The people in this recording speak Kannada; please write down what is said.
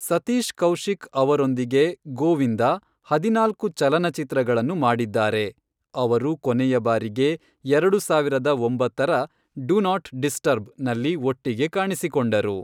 ಸತೀಶ್ ಕೌಶಿಕ್ ಅವರೊಂದಿಗೆ ಗೋವಿಂದ ಹದಿನಾಲ್ಕು ಚಲನಚಿತ್ರಗಳನ್ನು ಮಾಡಿದ್ದಾರೆ, ಅವರು ಕೊನೆಯ ಬಾರಿಗೆ ಎರಡು ಸಾವಿರದ ಒಂಬತ್ತರ, ಡು ನಾಟ್ ಡಿಸ್ಟರ್ಬ್, ನಲ್ಲಿ ಒಟ್ಟಿಗೆ ಕಾಣಿಸಿಕೊಂಡರು.